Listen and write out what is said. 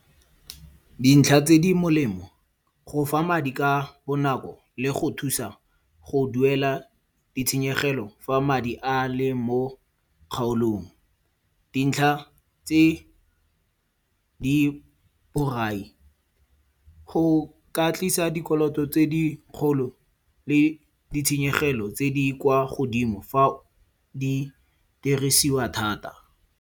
Dintlha tse di molemo, go fa madi ka bonako le go thusa go duela ditshenyegelo fa madi a le mo kgaolong. Dintlha tse di borai go ka tlisa dikoloto tse dikgolo le ditshenyegelo tse di kwa godimo fa di dirisiwa thata.